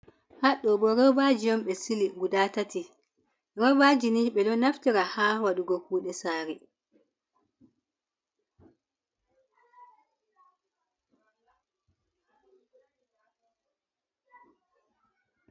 Haɗɗo bo robaji on ɓe sili guda tati. Robaji ni ɓe ɗo naftira ha waɗugo kude sari.